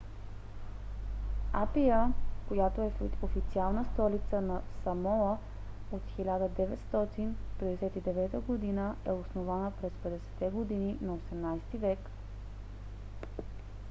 апия която е официална столица на самоа от 1959 г. е основана през 50-те години на 18-ти век